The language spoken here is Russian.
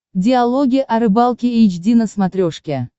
диалоги о рыбалке эйч ди на смотрешке